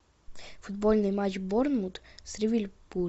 футбольный матч борнмут с ливерпулем